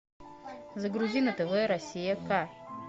загрузи на тв россия к